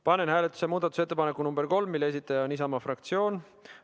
Panen hääletusele muudatusettepaneku nr 3, mille esitaja on Isamaa fraktsioon.